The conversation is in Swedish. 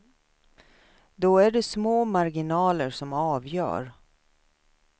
Då är det små marginaler som avgör.